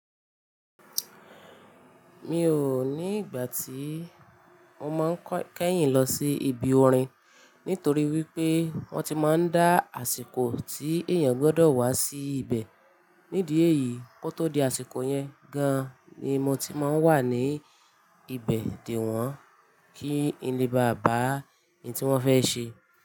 Mi ò ní ìgbà tí mo máa n kẹ́yìn lọ sí ibi orin nítorí wípé wón ti máa ń dá àsìkò tí èèyàn gbọ́dọ̀ wá sí ibẹ̀. Nídìí èyí, kó tó di àsìkò yẹn gan ni mo ti máa ń wà ní ibẹ̀ dè wọ́n kí ni lè bá bàa ní tí wón fẹ́ ṣe.